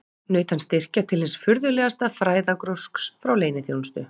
Naut hann styrkja til hins furðulegasta fræðagrúsks frá leyniþjónustu